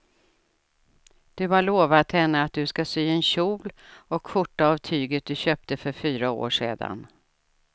Du har lovat henne att du ska sy en kjol och skjorta av tyget du köpte för fyra år sedan.